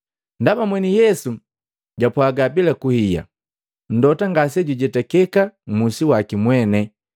Ndaba mweni Yesu japwaga bila kuhiya, “Mlota ngasejujetakeka mmusi waki mwene.”